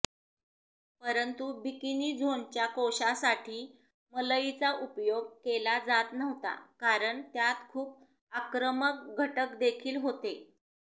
परंतु बिकिनी झोनच्या कोशासाठी मलईचा उपयोग केला जात नव्हता कारण त्यात खूप आक्रमक घटकदेखील होते